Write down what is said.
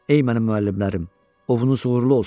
Ey mənim müəllimlərim, ovunuz uğurlu olsun.